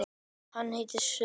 Hann neitar sök.